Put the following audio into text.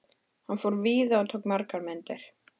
Hann fór víða og tók margar myndir.